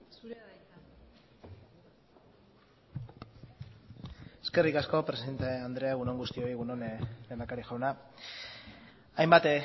zurea da hitza eskerrik asko presidente andrea egun on guztioi egun on lehendakari jauna hainbat